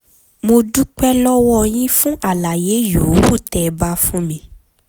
mo dúpẹ́ lọ́wọ́ yín fún àlàyé yòówù tẹ́ ẹ bá fún mi